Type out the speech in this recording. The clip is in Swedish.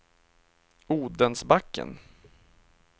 Odensbacken